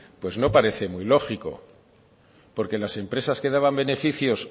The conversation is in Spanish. no parece muy lógico las empresas que daban beneficios